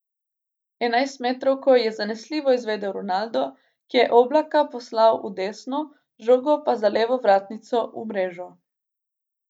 Enajstmetrovko je zanesljivo izvedel Ronaldo, ki je Oblaka poslal v desno, žogo pa za levo vratnico v mrežo.